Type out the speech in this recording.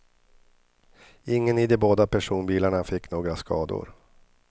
Ingen i de båda personbilarna fick några skador.